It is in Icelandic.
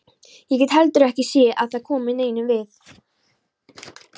Ég get heldur ekki séð að það komi neinum við.